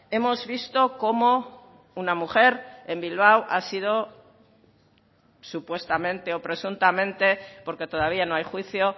hemos visto cómo una mujer en bilbao ha sido supuestamente o presuntamente porque todavía no hay juicio